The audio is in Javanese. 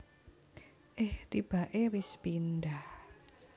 Eh tibake wis pindah